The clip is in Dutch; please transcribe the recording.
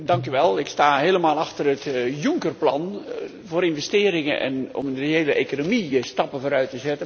Ik sta helemaal achter het Juncker plan, voor investeringen en om in een reële economie stappen vooruit te zetten.